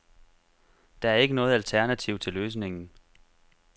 Der ikke er noget alternativ til løsningen.